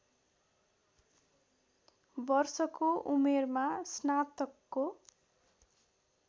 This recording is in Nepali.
वर्षको उमेरमा स्नातकको